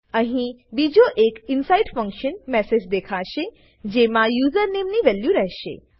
અહી બીજો એક ઇનસાઇડ ફંકશન મેસેજ દેખાશેજેમાં યુઝરનેમ ની વેલ્યુ રહેશે